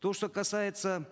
то что касается